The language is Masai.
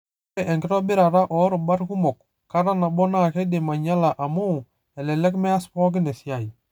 Ore enkitobirata oirubat kumok kata nabo naa kidim anyala amu, elelek meas pookin esiaai.